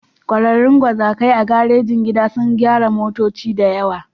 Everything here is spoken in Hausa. Ƙwararrun gwazakai a garejin gida sun gyara motoci da yawa.